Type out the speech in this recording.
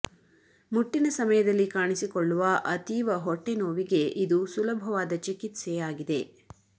ಮುಟ್ಟಿನ ಸಮಯದಲ್ಲಿ ಕಾಣಿಸಿಕೊಳ್ಳುವ ಅತೀವ ಹೊಟ್ಟೆ ನೋವಿಗೆ ಇದು ಸುಲಭವಾದ ಚಿಕಿತ್ಸೆ ಆಗಿದೆ